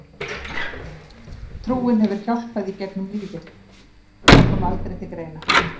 Trúin hefur hjálpað í gegnum lífið Það kom aldrei til greina.